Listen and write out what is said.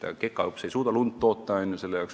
Ega kekaõps lund toota ei suuda.